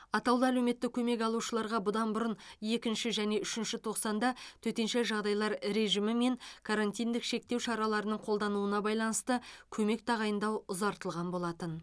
атаулы әлеуметтік көмек алушыларға бұдан бұрын екінші және үшінші тоқсанда төтенше жағдайлар режимі мен карантиндік шектеу шараларының қолданылуына байланысты көмек тағайындау ұзартылған болатын